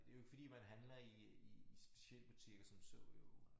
Det jo ikke fordi man handler i i i specialbutikker som så jo